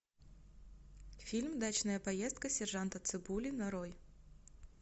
фильм дачная поездка сержанта цыбули нарой